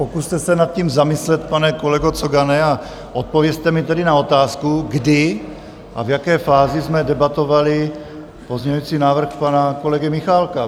Pokuste se nad tím zamyslet, pane kolego Cogane, a odpovězte mi tedy na otázku, kdy a v jaké fázi jsme debatovali pozměňující návrh pana kolegy Michálka.